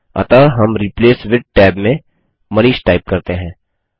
अतः हम replace with tab में मनीष टाइप करते हैं